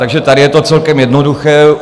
Takže tady je to celkem jednoduché.